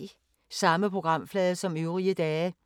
Samme programflade som øvrige dage